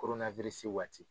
waati.